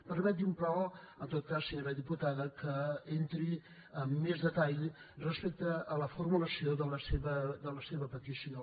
permeti’m però en tot cas senyora diputada que entri en més detall respecte a la formulació de la seva petició